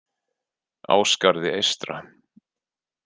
Ásgarði eystra